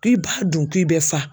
K'i b'a dun k'i bɛ fa